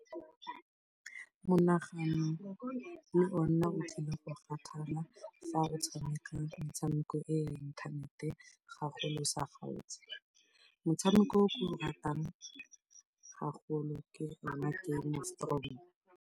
Monagano le ona o tlile go kgathala fa o tshameka metshameko e ya inthanete gagolo o sa kgaotse. Motshameko o ke o ratang gagolo ke ona Game Of Thrones.